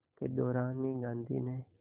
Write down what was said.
के दौरान ही गांधी ने